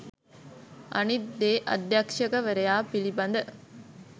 අනිත් දේ අධ්‍යක්ෂවරයා පිළිබඳ